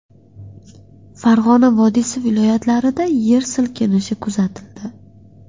Farg‘ona vodiysi viloyatlarida yer silkinishi kuzatildi.